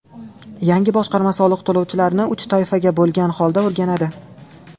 Yangi boshqarma soliq to‘lovchilarni uch toifaga bo‘lgan holda o‘rganadi.